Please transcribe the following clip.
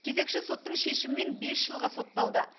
кезекші соттың шешімімен бес жылға сотталды